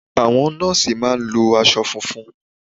Àwọn nọ́ọ̀sì mà a ń lo asọ funfun